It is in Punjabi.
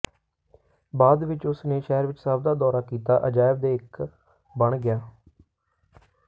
ਬਾਅਦ ਵਿਚ ਉਸ ਨੇ ਸ਼ਹਿਰ ਵਿਚ ਸਭ ਦਾ ਦੌਰਾ ਕੀਤਾ ਅਜਾਇਬ ਦੇ ਇੱਕ ਬਣ ਗਿਆ